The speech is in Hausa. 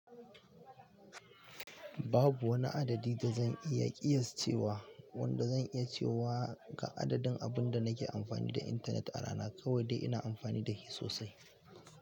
Babu wani adadi da zan iya ƙiyascewa wanda zan iya cewa ga adadin abin da na ke amfani da intanet a rana, kawai dai ina amfani da shi sosai.